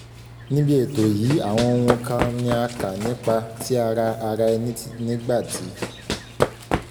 níbi ètò yìí àwọn ohun kan ni a kà nípa ti ara ara ẹni nígbà tí